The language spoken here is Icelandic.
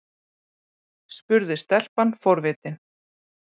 spurði stelpan forvitin.